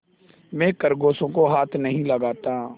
मैं खरगोशों को हाथ नहीं लगाता